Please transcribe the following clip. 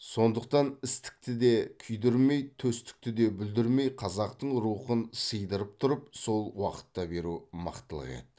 сондықтан істікті де күйдірмей төстікті де бүлдірмей қазақтың рухын сыйдырып тұрып сол уақытта беру мықтылық еді